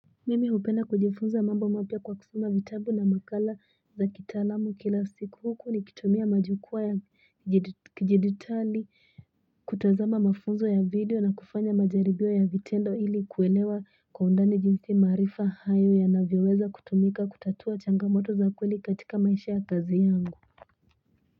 Mimi hupenda kujifunza mambo mapia kwa kusoma vitabu na makala za kitalamu kila siku huku nikitumia majukua ya kijedutali kutazama mafunzo ya video na kufanya majaribio ya vitendo ili kuelewa kwa undani jinsi marifa hayo yanavyoweza kutumika kutatua changamoto za kweli katika maisha ya kazi yangu.